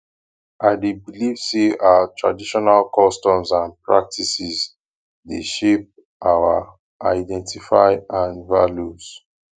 i dey believe say our traditional customs and practices dey shape our identify and values